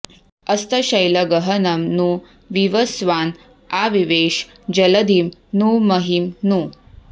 अस्तशैलगहनं नु विवस्वान् आविवेश जलधिं नु महीं नु